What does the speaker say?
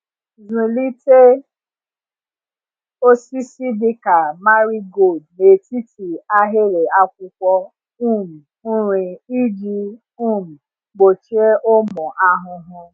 Zụlite osisi dịka marigold n’etiti ahịrị akwụkwọ um nri iji um gbochie ụmụ ahụhụ.